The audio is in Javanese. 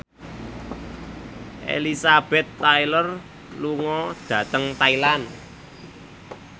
Elizabeth Taylor lunga dhateng Thailand